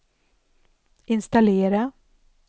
installera